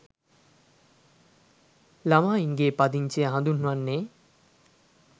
ළමයින්ගේ පදිංචිය හදුන්වන්නේ